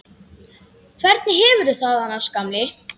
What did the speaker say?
Hvernig hefurðu það annars, gamli?